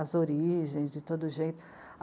as origens, de todo jeito.